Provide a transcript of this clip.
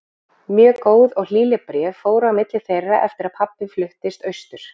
Mörg góð og hlýleg bréf fóru á milli þeirra eftir að pabbi fluttist austur.